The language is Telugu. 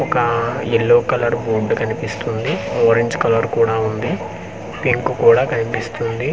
ఒక-క ఎల్లో కలర్ బోర్డ్ కనిపిస్తుంది ఆరెంజ్ కలర్ కూడా ఉంది పింక్ కూడా కనిపిస్తుంది .